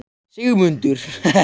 Sigmundur